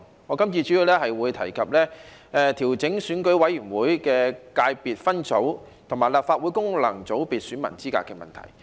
我今次主要談論調整選舉委員會的界別分組和立法會功能界別選民資格的問題。